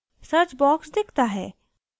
search box दिखता है